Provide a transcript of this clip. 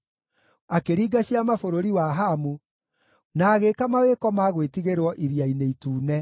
akĩringa ciama bũrũri wa Hamu, na agĩĩka mawĩko ma gwĩtigĩrwo Iria-inĩ Itune.